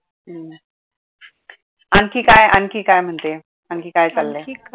आणखी काय आणखी काय म्हणजे आणखी काय चाललय?